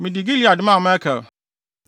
Mede Gilead maa Makir,